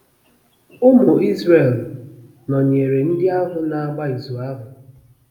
Ụmụ Izrel nọnyeere ndị ahụ na-agba izu ahụ!